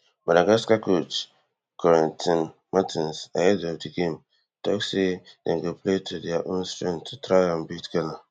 madagascar coach corentin martins ahead of di game tok say dem go play to dia own strength to try and beat ghana